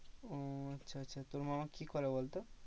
ও আচ্ছা আচ্ছা তোর মামা কি করে বলতো?